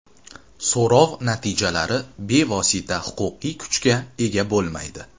So‘rov natijalari bevosita huquqiy kuchga ega bo‘lmaydi.